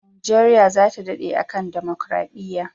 Nigeria zata dade a kan democaradiya